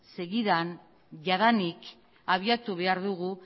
segidan jadanik abiatu behar dugu